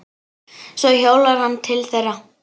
Svo hjólar hann til þeirra.